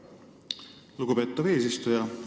Lugupeetav eesistuja!